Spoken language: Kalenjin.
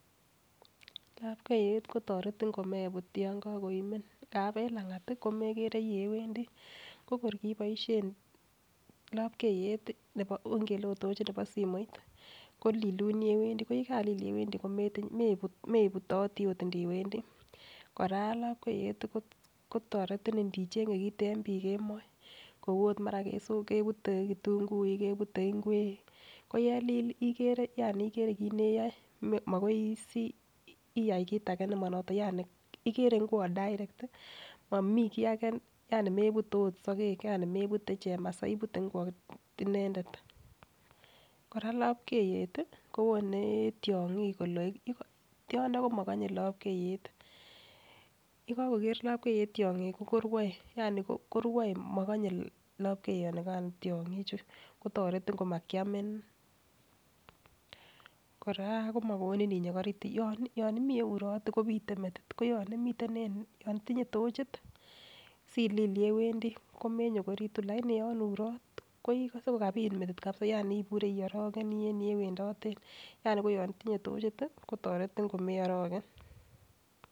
Lapkeiyet kotoretin komebut yon kokoimen ngap en langat komegere yewendii konoret kiboishen lopkeiyet ikele it tochi nebo simoit kolilun yewendii ko yekalil yewendii kimeibitoti ot indiwenii. Koraa lopkeiyet kotoretin ndichenge kit kemo kou mara ot kebute kitunguik kebut ingwek koyelil ikere yani ikere kit neyoe makois iyai kit age nemonoton yani iker igwot direct momii kii age yani mebute ot sokek yani mebute chemasai ibute ingwot inendet . Koraa lopkeiyet tii kowone tyonkik koloekitun tyondo komokonye lopkeiyet, yekokoker lopkeiyet tyonkik korue ya I koruoe mokonye lpkeyonikan tyonkik chuu kotoretin kimakiami. Koraa komokonu inyokoritu yon imii yeurot kopite metit koyon imiten en yon itinye tochit silil yewendii komenyokoritu lakini yon irot koikose kokapit metit kabisa yani ibure iorokenii en yewendoten yani koyon itinyee tochit tii kotoretin komeoroken.